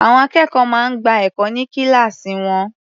Àwọn akẹ́kọ̀ọ́ máa ń gba ẹ̀kọ́ ní kíláàsì wọn.